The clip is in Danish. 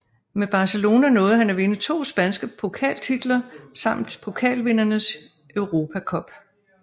Med Barcelona nåede han at vinde to spanske pokaltitler samt Pokalvindernes Europa Cup